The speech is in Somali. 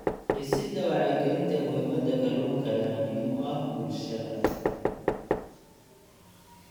Dhisida wacyigelinta muhiimadda kalluunka ayaa muhiim u ah bulshada.